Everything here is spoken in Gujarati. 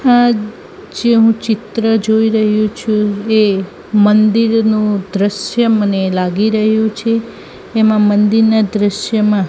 આ જે ઊં ચિત્ર જોઈ રહી છું એ મંદિરનુ દ્રશ્ય મને લાગી રહ્યુ છે એમા મંદિરના દ્રશ્યમાં--